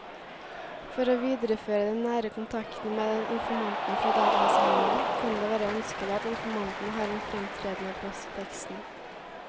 For å videreføre den nære kontakten med informanten fra datainnsamlingen kan det være ønskelig at informanten har en fremtredende plass i teksten.